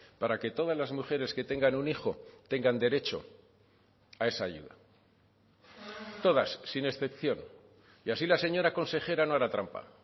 para que todas las mujeres que tengan un hijo tengan derecho a esa ayuda todas sin excepción y así la señora consejera no hará trampa